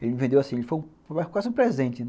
Ele me vendeu assim, ele foi foi quase um presente, né?